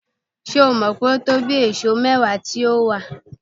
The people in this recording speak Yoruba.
Ṣé o mọ̀ pé ìtóbí èèsó bíi mẹ́wàá ni ó wà?